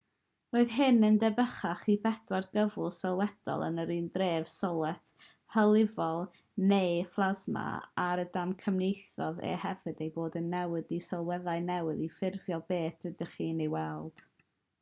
roedd hyn yn debycach i'r pedwar cyflwr sylwedd yn yr un drefn: solet hylifol nwy a phlasma er y damcaniaethodd e hefyd eu bod yn newid i sylweddau newydd i ffurfio beth rydych chi'n ei weld